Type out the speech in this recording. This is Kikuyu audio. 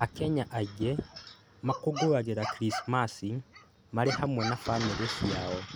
Akenya aingĩ makũngũyagĩra Krismasi marĩ hamwe na bamĩrĩ ciao.